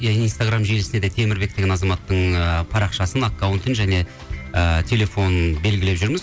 иә инстаграм желсінде де темірбек деген азаматтың ы парақшасын аккаунтын және ыыы телефонын белгілеп жүрміз